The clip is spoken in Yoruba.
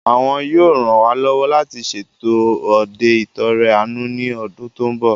Àwọn yóò ran wá lọ́wọ́ láti ṣètò òde ìt'ọrẹ àánú ní ọdún tó mbọ̀